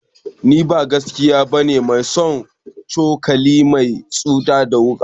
Ni ba gaskiya bane mai son cokali mai yatsu da wuka